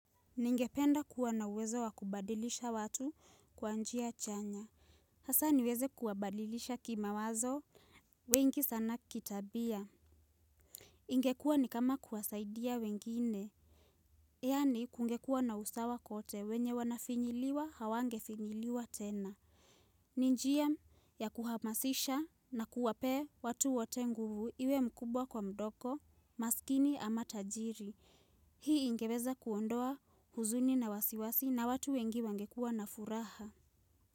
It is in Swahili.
Ningependa kuwa na uwezo wa kubadilisha watu kwa njia chanya. Hasa niweze kuwabadilisha kimawazo. Wengi sana kitabia. Ingekuwa ni kama kuwasaidia wengine. Yaani kungekuwa na usawa kote wenye wanafinyiliwa hawangefinyiliwa tena. Ni njia ya kuhamasisha na kuwapee watu wote nguvu iwe mkubwa kwa mdogo, maskini ama tajiri. Hii ingeweza kuondoa huzuni na wasiwasi na watu wengi wangekua na furaha.